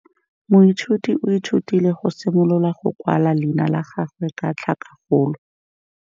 Moithuti o ithutile go simolola go kwala leina la gagwe ka tlhakakgolo.